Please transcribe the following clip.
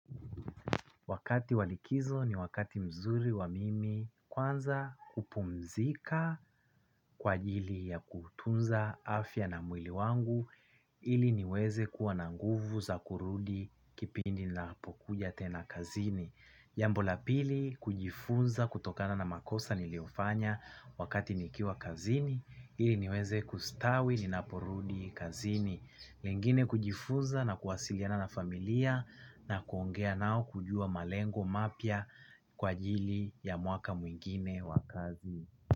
Wakati wa likizo ni wakati mzuri wa mimi kwanza kupumzika kwa ajili ya kutunza afya na mwili wangu ili niweze kuwa na nguvu za kurudi kipindi kinapokuja tena kazini. Jambo la pili ni kujifunza kutokana na makosa niliyofanya wakati nikiwa kazini, ili niweze kustawi ninaporudi kazini. Lingine ni kujifunza na kuwasiliana na familia na kuongea nao, kujua malengo mapya kwa ajili ya mwaka mwingine wa kazi.